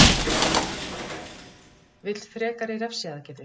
Vill frekari refsiaðgerðir